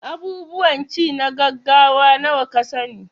Abubuwan ci na gaggawa nawa ka sa ni?